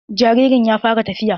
Jaririn ya fara tafiya.